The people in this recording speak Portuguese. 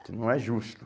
Isso não é justo.